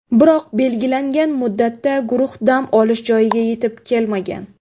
Biroq belgilangan muddatda guruh dam olish joyiga yetib kelmagan.